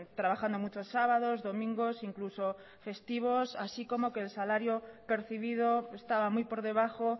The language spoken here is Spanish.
trabajando muchos sábados domingos incluso festivos así como que el salario percibido estaba muy por debajo